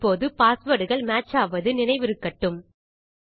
இப்போது பாஸ்வேர்ட் கள் மேட்ச் ஆவது நினைவிருக்கட்டும்